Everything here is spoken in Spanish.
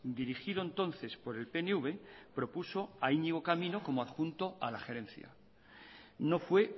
dirigido entonces por el pnv propuso a iñigo camino adjunto a la gerencia no fue